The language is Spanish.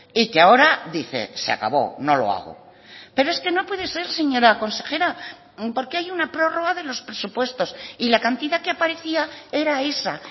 y que ahora dice se acabó no lo hago pero es que no puede ser señora consejera porque hay una prórroga de los presupuestos y la cantidad que aparecía era esa